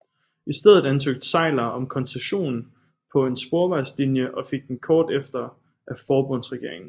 I stedet ansøgte Seiler om koncession på en sporvejslinie og fik den kort efter af forbundsregeringen